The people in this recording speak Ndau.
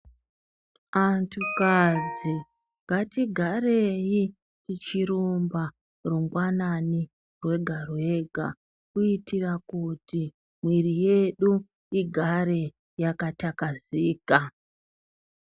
Antu kadzi ngatigarei tichirumba rungwanani rwega rwega kuitira kuti mwiri yedu igare yakatakazeka.